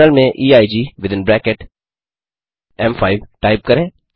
terminal में EIG within bracket एम5 type करें